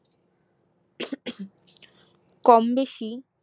কমবেশি